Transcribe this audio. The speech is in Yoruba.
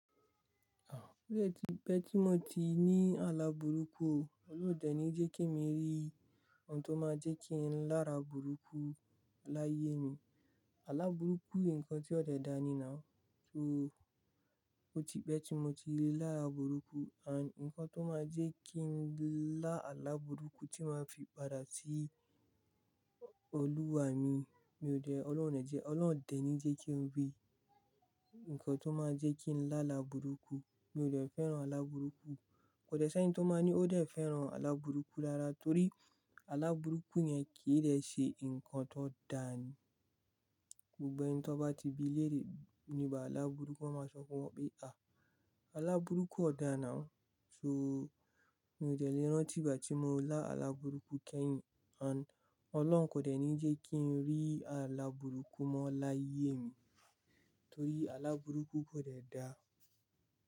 Ó dé ti pẹ́ tí mo ti ní alábùrúkú, Ọlọ́run ò dẹ ní jẹ́ kí emi rí ohun tó máa jẹ́ kí n lára bùrúkú láyé mi. Alábùrúkú yen nǹkan tí ò dẹ dà ni náà, so ó ti pẹ́ tí mo ti lára bùrúkú. An nǹkan tó máa jẹ́ kí n lá alábùrúkú tí máa fi padà sí Olúwa mi, mi ò dẹ, Ọlọ́run ò dẹ ní jẹ́ kí n rí nǹkan tó máa jẹ́ kí n lá alábùrúkú. Mi ò dẹ fẹ́ran alábùrúkú, kò dẹ sí ènì tó máa ní ó dẹ fẹ́ran alábùrúkú lára torí alábùrúkú yẹn kì í dẹ ṣe nǹkan tó dá ni. Gbogbo ẹni tó bá ti bí lérè níba alábùrúkú a máa sọ fun wọ́n pè a alábùrúkú ọ̀dà náà. So mi ò dẹ lé rantí igbà tí mo lá alábùrúkú kẹ́yìn. An Ọlọ́run kò dẹ ní jẹ́ kí n rí alábùrúkú mọ́ láyé mi torí alábùrúkú kò dẹ da.